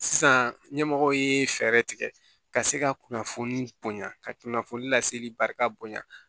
Sisan ɲɛmɔgɔw ye fɛɛrɛ tigɛ ka se ka kunnafoni bonya ka kunnafoni laseli barika bonya